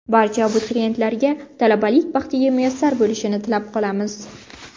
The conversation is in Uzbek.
Barcha abituriyentlarga talabalik baxtiga muyassar bo‘lishni tilab qolamiz.